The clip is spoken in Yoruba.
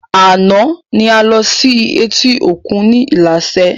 Àná ni a lọ sí etí òkun ni ilaṣẹ